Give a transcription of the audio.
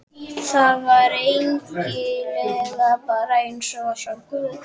Það var eigin lega bara eins og að sjá guð.